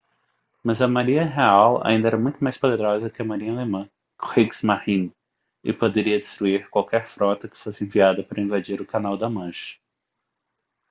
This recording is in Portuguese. mas a marinha real ainda era muito mais poderosa que a marinha alemã kriegsmarine e poderia destruir qualquer frota que fosse enviada para invadir o canal da mancha